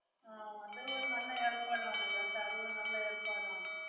ആഹ് അത് ഒരു നല്ല ഏർപ്പാടാണ് കേട്ടാ അത് ഒരു നല്ല ഏർപ്പാടാണ്.